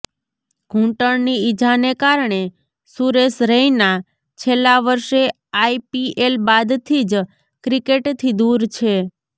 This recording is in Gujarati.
ઘુંટણની ઇજાને કારણે સુરેશ રૈના છેલ્લા વર્ષે આઈપીએલ બાદથી જ ક્રિકેટથી દૂર છે